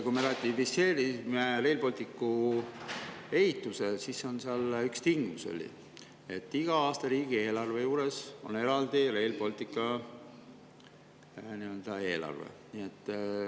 Kui me ratifitseerisime Rail Balticu ehituse, siis seal oli üks tingimus, et iga aasta on riigieelarve juures eraldi Rail Balticu eelarve.